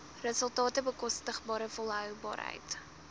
resultate bekostigbare volhoubaarheid